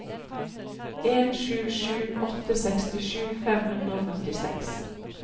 en sju sju åtte sekstisju fem hundre og førtiseks